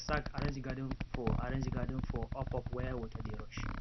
i take sack arrange garden for arrange garden for upup where water dey rush